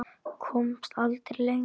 Komst aldrei lengra.